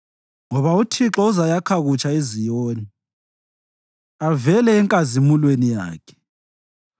Ngoba uThixo uzayakha kutsha iZiyoni avele enkazimulweni yakhe.